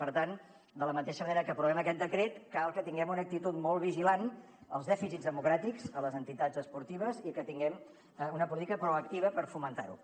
per tant de la mateixa manera que aprovem aquest decret cal que tinguem una actitud molt vigilant als dèficits democràtics en les entitats esportives i que tinguem una política proactiva per fomentar la